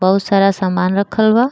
बहुत सारा सामान रखल बा।